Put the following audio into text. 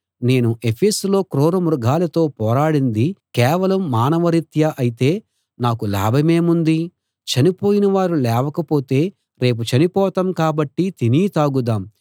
నేను ఎఫెసులో క్రూర మృగాలతో పోరాడింది కేవలం మానవరీత్యా అయితే నాకు లాభమేముంది చనిపోయిన వారు లేవకపోతే రేపు చనిపోతాం కాబట్టి తిని తాగుదాం